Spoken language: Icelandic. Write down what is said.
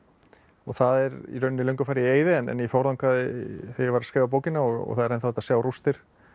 það er í rauninni löngu farið í eyði en ég fór þangað þegar ég var að skrifa bókina og það er ennþá hægt að sjá rústir